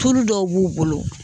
Tulu dɔw b'u bolo.